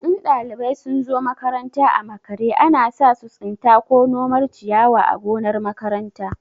In ɗalibai sun zo makaranta a makare, ana sa su tsinta ko nomar ciyawa a gonar makaranta.